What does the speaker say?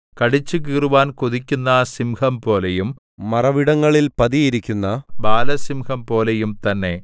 കടിച്ചുകീറുവാൻ കൊതിക്കുന്ന സിംഹംപോലെയും മറവിടങ്ങളിൽ പതിയിരിക്കുന്ന ബാലസിംഹംപോലെയും തന്നെ